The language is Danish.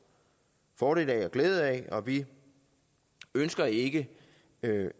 fordel og glæde af og vi ønsker ikke